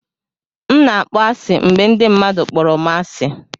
M na-akpọ asị mgbe ndị mmadụ kpọrọ m asị.